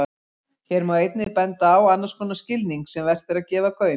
Hér má einnig benda á annars konar skilning sem vert er að gefa gaum.